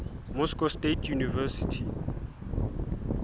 moscow state university